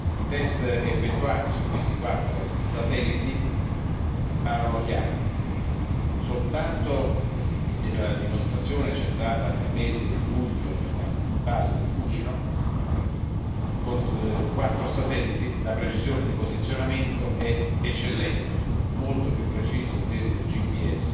I test effettuati su questi quattro satelliti parlano chiaro e la dimostrazione c'è stata nel mese di luglio nella base del Fucino con quattro satelliti la precisione di posizionamento è eccellente, molto maggiore del GPS